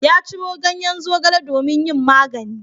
Ya ciro ganyen zogale domin yin magani.